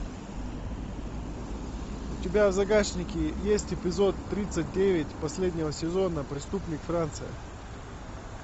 у тебя в загашнике есть эпизод тридцать девять последнего сезона преступник франция